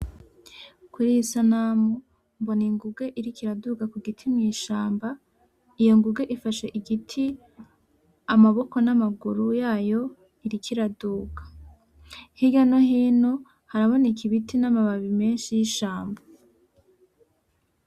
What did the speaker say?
Kuriyi sanamu, mbona inguge iriko iraduga ku giti mw'ishamba, iyo nguge ifashe igiti, amaboko n'amaguru yayo, iriko iraduga. Hirya no hino haraboneka ibiti n'amababi menshi y'ishamba.